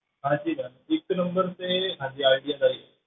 ਹਾਂਜੀ ma'am ਇੱਕ number ਤੇ ਹਾਂਜੀ ਆਇਡੀਆ ਦਾ ਹੀ ਹੈ।